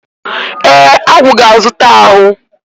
E, Agwu ga-azuta ahu.